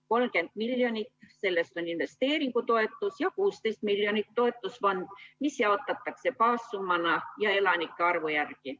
30 miljonit sellest on investeeringutoetus ja 16 miljonit toetusfond, mis jaotatakse baassummana ja elanike arvu järgi.